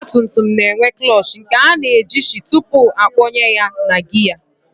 Ọgbatumtum na-enwe klọọchị nke a na-ejichi tupu akpọnye ya na gịya